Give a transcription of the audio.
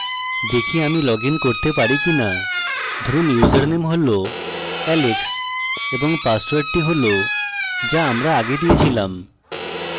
দেখি আমি লগইন করতে পারি কিনা ধরুন username হল alex এবং পাসওয়ার্ডটি হল যা আমরা আগে দিয়েছিলাম